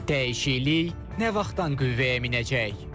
Dəyişiklik nə vaxtdan qüvvəyə minəcək?